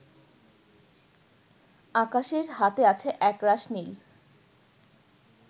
আকাশের হাতে আছে একরাশ নীল